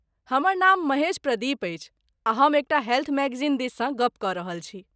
हमर नाम महेश प्रदीप अछि, आ हम एकटा हेल्थ मैगजीन दिससँ गप कऽ रहल छी।